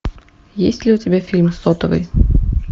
есть ли у тебя фильм сотовый